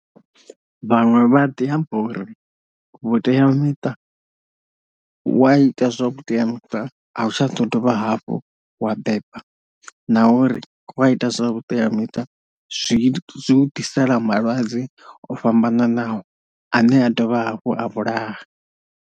Vhaṅwe vha ḓi amba uri vhuteamiṱa wa ita zwa vhuteamiṱa a u tsha ḓo dovha hafhu wa beba na uri wa ita zwa vhuteamiṱa zwi zwi u ḓisela malwadze o fhambananaho ane a dovha hafhu a vhulaha.